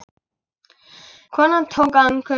Konan tók andköf.